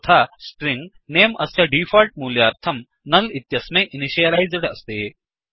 तथा स्ट्रिंग नमे अस्य डीफोल्ट् मूल्याय नुल् इत्यस्मै इनिशियलैस्ड् अस्ति